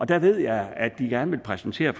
der ved jeg at de gerne vil præsentere